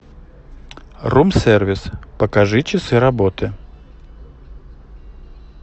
рум сервис покажи часы работы